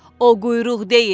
O quyruq deyil.